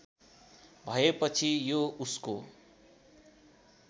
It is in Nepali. भएपछि यो उसको